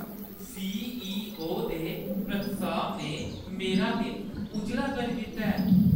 CEO. दे प्रस्ताव ने मेरा दिन उज्जला करी दित्ता ऐ।